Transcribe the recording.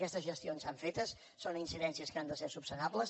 aquestes gestions s’han fet són incidències que han de ser esmenables